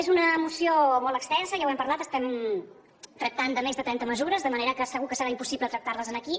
és una moció molt extensa ja n’hem parlat estem tractant més de trenta mesures de manera que segur que serà impossible tractar les aquí